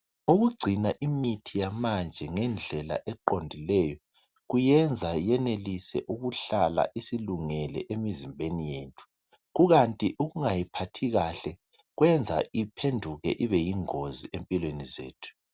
Ukugcina imithi yamanje ngendlela eqondileyo kuyenza yenelise ukuhlala isilungele emzimbeni yethu. Kukanti ukungayiphathi kahle kwenza iphenduke ibe yingozi empilweni zethu.